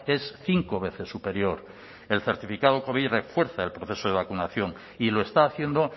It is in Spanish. es cinco veces superior el certificado covid refuerza el proceso de vacunación y lo está haciendo